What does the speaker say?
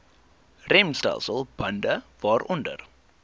remstelsel bande waaronder